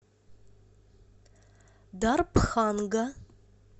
дарбханга